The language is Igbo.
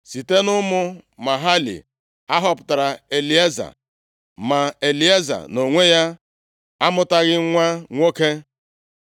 Site nʼụmụ Mahali a họpụtara Elieza, ma Elieza nʼonwe ya amụtaghị nwa nwoke.